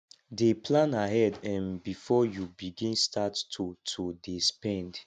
dey plan ahead um bifor yu begin start to to dey spend